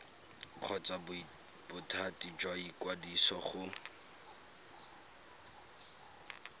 kgotsa bothati jwa ikwadiso go